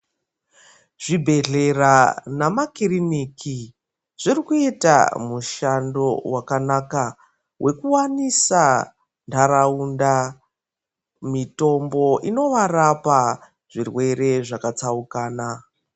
Zvibhedhlera namakiriniki zvirikuita mushando wakanaka wekuwanisa nharaunda mitombo inovarapa zvirwere zvakatsaukana.